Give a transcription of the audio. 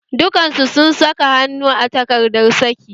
Dukan su sun saka hannu a takardar saki